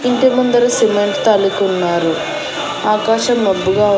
ఇంటి ముందర సిమెంట్ తో అలికి ఉన్నారు ఆకాశం మబ్బుగా ఉంది.